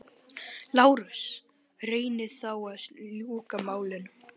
LÁRUS: Reynið þá að ljúka málinu.